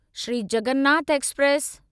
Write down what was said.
Shri Jagannath express